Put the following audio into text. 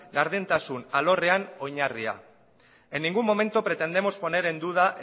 gardentasun alorrean oinarria en ningún momento pretendemos poner en duda